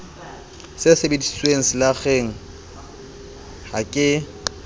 e sebediswe selakgeng ha ke